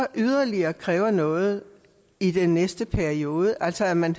yderligere bliver krævet noget i den næste periode altså at man